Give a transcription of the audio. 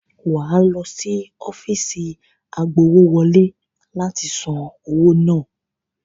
Wà á lọ sí ọ́fíìsì agbowówọlé láti san owó náà.